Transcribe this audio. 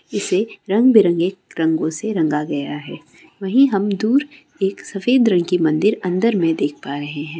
इसे रंग बेरंगी रंगो से रंगा गया है वही हम दूर एक सफ़ेद रंग की मंदिर अंदर मे देख पा रहे है।